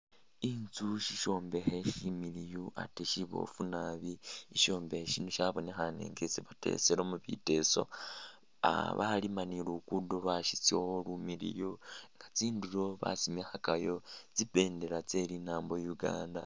Inzu sishombekhe shimiliyu ate siboofu naabi, ishombekhe shino shabonekhaane nga isi bateselamo biteeso, ah baliima ne luguudo [?] Lumiliiyu nga tsindulo basimikhakayo tsi bendeela tse linaambo Uganda.